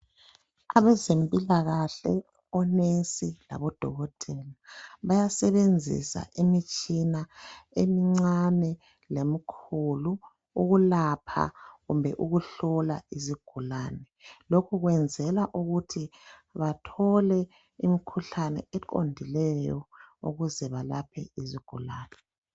Abezempilakahle, onesi labo dokotela, bayasebenzisa imitshina emincane lemikhulu, ukulapha kumbe ukuhlola izigulane. Lokhu kwenzela ukuthi bathole imikhuhlane eqondileyo ukuze balaphe izigulane.